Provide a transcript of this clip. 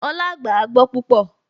Olá gbàágbọ́ púpọ̀